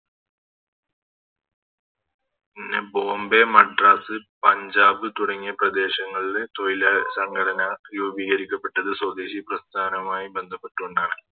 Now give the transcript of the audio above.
പിന്നെ ബോംബെ മദ്രാസ് പഞ്ചാബ് തുടങ്ങിയ പ്രദേശങ്ങളില് തോയില് സംഘടന രൂപീകരിക്കപ്പെട്ടത് സ്വദേശി പ്രസ്ഥാനമായി ബന്ധപ്പെട്ടുകൊണ്ടാണ്